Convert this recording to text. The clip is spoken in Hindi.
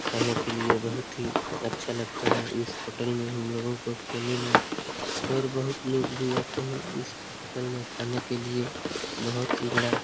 खाने के लिए बहुत ही अच्छा लगता है इस होटल में हम लोगों को खाने में और बहोत लोग भी आते हैं इस होटल में खाने के लिए बहोत ही बड़ा --